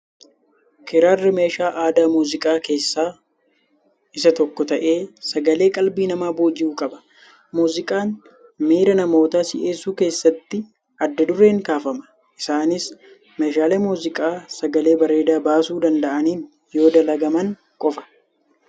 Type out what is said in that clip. Kiraarri meeshaa aadaa muuziqaa keessaa isaa tokko ta'ee sagalee qalbii namaa booji'u qaba. Muuziqaan miira namootaa si'eessuu keessatti adda dureen kaafama. Isaanis meeshaalee muuziqaa sagalee bareedaa baasuu danda'aniin yoo dalagaman qofa.